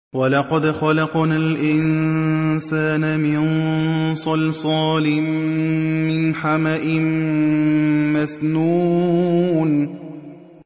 وَلَقَدْ خَلَقْنَا الْإِنسَانَ مِن صَلْصَالٍ مِّنْ حَمَإٍ مَّسْنُونٍ